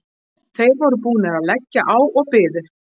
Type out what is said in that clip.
Þeir voru búnir að leggja á og biðu.